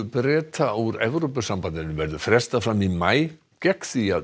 Breta úr Evrópusambandinu verður frestað fram í maí gegn því að